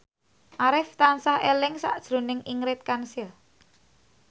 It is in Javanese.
Arif tansah eling sakjroning Ingrid Kansil